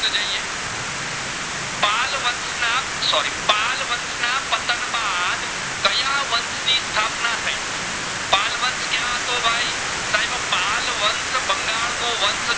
બંગાળ નું વંશ